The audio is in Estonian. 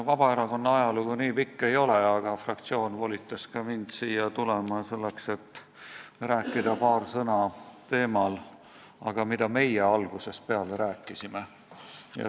Vabaerakonna ajalugu nii pikk ei ole, aga fraktsioon volitas mind siia tulema selleks, et rääkida paar sõna teemal, mida meie algusest peale oleme rääkinud.